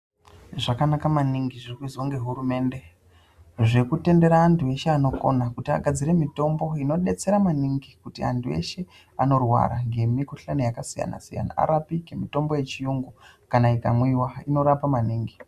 Zvakanaka maningi zvikuizwa nehurumemde, zvekutendera antu eshe anokona kuti agadzire mitombo inodetsera maningi kuti antu ese anorwara ngemikushani yakasiyana siyana aripike. Mitombo yechirungu kana ikamwiwa inorapa maningi.